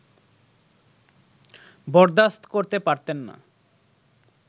বরদাস্ত করতে পারতেন না